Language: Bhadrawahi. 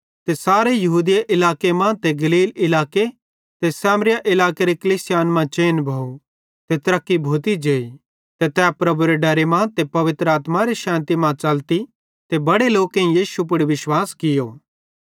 त सारे यहूदिया इलाके मां ते गलील इलाके ते सामरिया इलाकेरी कलीसियान मां चैन भोव ते तरक्की भोती जेई ते तै प्रभुएरे डरे मां ते पवित्र आत्मारे शैन्ति मां च़लती ते बड़े लोकेईं यीशु मसीह पुड़ विश्वास कियो